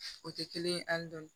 O tɛ kelen ye hali dɔɔni